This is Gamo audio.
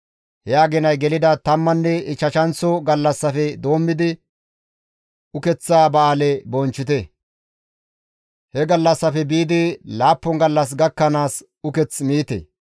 Ha aginay gelida tammanne ichchashanththo gallassafe doommidi ukeththa ba7aale bonchchite; he gallassafe biidi laappun gallas gakkanaas uketh miite.